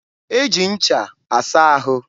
e ji ncha asa ahụ.